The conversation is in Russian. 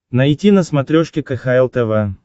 найти на смотрешке кхл тв